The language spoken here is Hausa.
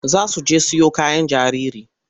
Za su je siyo kayan jariri.